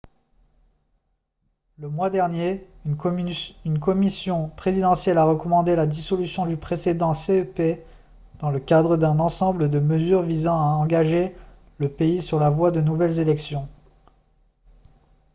le mois dernier une commission présidentielle a recommandé la dissolution du précédent cep dans le cadre d'un ensemble de mesures visant à engager le pays sur la voie de nouvelles élections